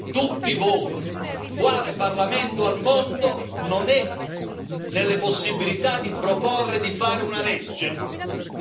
Ditemi tutti voi quale parlamento al mondo non ha la possibilità di proporre di fare una legge?